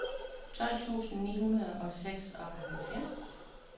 tolv tusind ni hundrede og seksoghalvfjerds